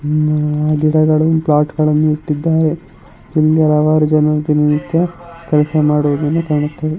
ಹ್ಮ್ ಗಿಡಗಳನ್ನು ಪೊಟ್ಗಳಲ್ಲಿ ಇಟ್ಟಿದ್ದಾರೆ ಕೆಲಸಮಾಡುವುದನ್ನು ಕಾಣುತ್ತದೆ.